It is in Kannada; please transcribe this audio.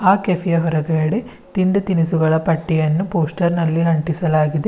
ಆ ಕೆಫೆ ಯ ಹೊರಗಡೆ ತಿಂಡಿ ತಿನಿಸುಗಳ ಪಟ್ಟಿಯನ್ನು ಪೋಸ್ಟರ್ ನಲ್ಲಿ ಅಂಟಿಸಲಾಗಿದೆ.